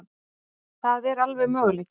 Það er alveg möguleiki.